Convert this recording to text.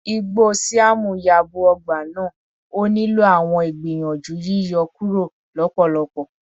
igbo siam yabo ọgba naa, o nilo awọn igbiyanju yiyọ kuro lọpọlọpọ